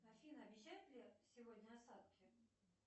афина обещают ли сегодня осадки